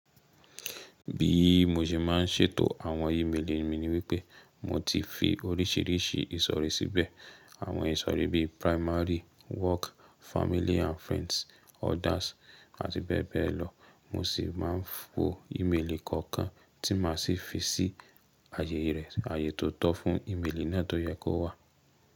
Bí mo ṣe má ń ṣètò àwọn ímélì mi ni wípé mo ti fi oríṣìíríṣìí ìsọ̀rí síbẹ̀. Àwọn ìsọ̀rí bí primary, work, family and friends, others àti bẹ́ẹ̀ bẹ́ẹ̀ lọ. Mo sì má ń fo ímélì kọ̀ọ̀kan tí ma sì fi sí àyè rẹ̀, àyè tó tọ́ fún ímélì náà tó yẹ kó wà.